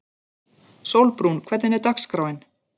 Sólbrún, hvernig er dagskráin?